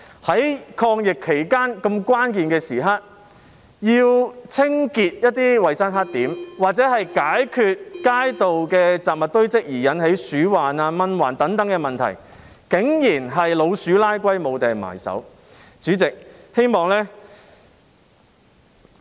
在抗疫期間這個關鍵時刻，要清潔一些衞生黑點或解決街道的雜物堆積而引起鼠患、蚊患等問題，竟然是"老鼠拉龜"，無從入手。